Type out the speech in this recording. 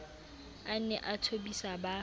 a ne a thobise ba